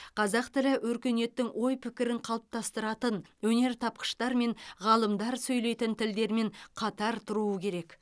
қазақ тілі өркениеттің ой пікірін қалыптастыратын өнертапқыштар мен ғалымдар сөйлейтін тілдермен қатар тұруы керек